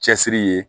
Cɛsiri ye